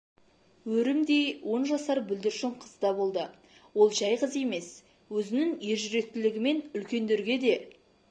өрімдей он жасар бүлдіршін қыз да болды ол жәй қыз емес өзінің ержүректілігімен үлкендерге де